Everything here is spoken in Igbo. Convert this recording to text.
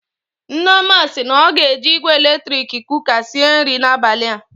Nneoma si na ọ ga-eji igwe eletrik kụka sịe nri n'abalị a.